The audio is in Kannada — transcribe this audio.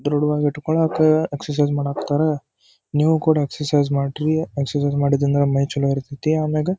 ದೃಢವಾಗಿ ಇಟ್ಟುಕೊಳ್ಳಕ್ಕೆ ಎಕ್ಸರ್ಸೈಜ್ ಮಾದಕ್ಕಾತರ ನೀವು ಕೂಡ ಎಕ್ಸರ್ಸೈಜ್ ಮಾಡ್ರಿ ಎಕ್ಸರ್ಸೈಜ್ ಮಾಡುದರಿಂದ ಮೈ ಚಲೋ ಇರತೈತಿ ಆಮೆಗೆ--